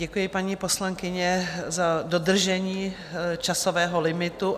Děkuji, paní poslankyně, za dodržení časového limitu.